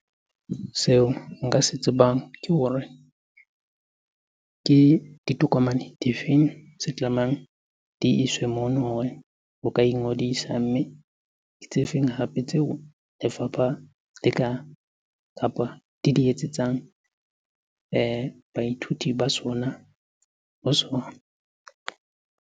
Seo nka se tsebang ke hore ke ditokomane di feng tse tlamehang di iswe mono hore o ka ingodisa? Mme ke tse feng hape tseo lefapha le ka, kapa di di etsetsang baithuti ba sona, ho sona?